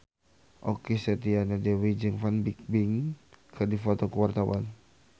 Okky Setiana Dewi jeung Fan Bingbing keur dipoto ku wartawan